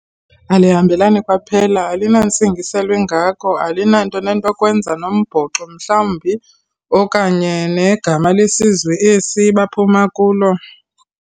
Alihambelani kwaphela. Alinantsingiselo ingako, alinanto nento yokwenza nombhoxo mhlawumbi okanye negama lesizwe esi baphuma kulo.